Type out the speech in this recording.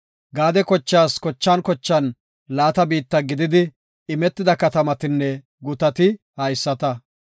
Gaade kochaas kochan kochan laata biitta gididi imetida katamatinne gutati haysata.